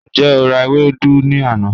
Njẹ o ra ewedu ni ana?